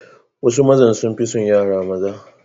Wasu mazan sun fi son yara maza.